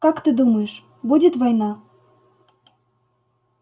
как ты думаешь будет война